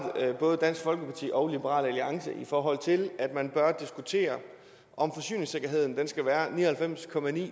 både dansk folkeparti og liberal alliance i forhold til at man bør diskutere om forsyningssikkerheden skal være ni og halvfems